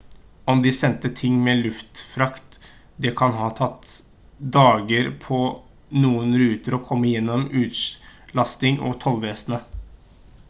om de sendte ting med luftfrakt det kan ha tatt dager på noen ruter å komme gjennom utlasting og tollvesenet